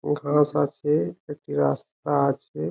ও ঘাস আছে একটি রাস্তা আছে ।